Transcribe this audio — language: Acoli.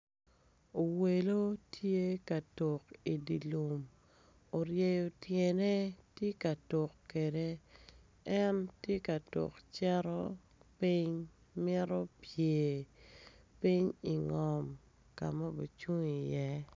Owelo tye ka tuk idilum oryeo tyene tye ka tuk kede en tye ka tuk cito ping mito pyer, ping i ngom kama obi cung i ye.